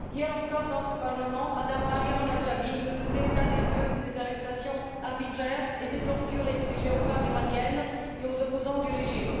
Hier encore dans ce Parlement, M me Maryam Radjavi nous faisait l'état des lieux des arrestations arbitraires et des tortures infligées aux femmes iraniennes et aux opposants du régime.